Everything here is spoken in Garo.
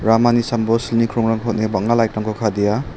amani sambao silni krongrangko on·e bang·a lait rangko kadea.